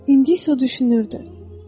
İndi isə o düşünürdü: